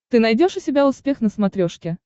ты найдешь у себя успех на смотрешке